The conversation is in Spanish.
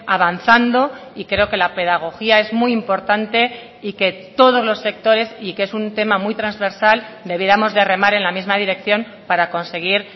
avanzando y creo que la pedagogía es muy importante y que todos los sectores y que es un tema muy transversal debiéramos de remar en la misma dirección para conseguir